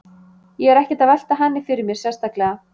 Ég er ekkert að velta henni fyrir mér sérstaklega.